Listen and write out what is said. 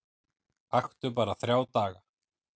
Aktu bara þrjá daga